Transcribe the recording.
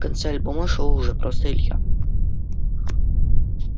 в конце альбома шёл уже просто илья